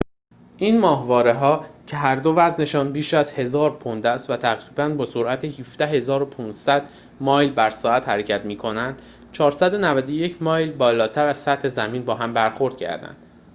این ماهواره‌ها که هر دو وزن‌شان بیش از 1000 پوند است و تقریباً با سرعت 17،500 مایل بر ساعت حرکت می‌کنند، 491 مایل بالاتر از سطح زمین با هم برخورد کردند